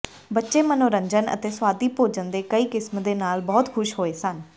ਬੱਚੇ ਮਨੋਰੰਜਨ ਅਤੇ ਸੁਆਦੀ ਭੋਜਨ ਦੇ ਕਈ ਕਿਸਮ ਦੇ ਨਾਲ ਬਹੁਤ ਖ਼ੁਸ਼ ਹੋਏ ਸਨ